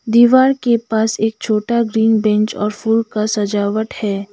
दीवार के पास एक छोटा ग्रीन बेंच और फूल का सजावट है।